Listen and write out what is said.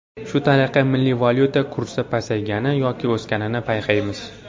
Shu tariqa milliy valyuta kursi pasaygani yoki o‘sganini payqaymiz.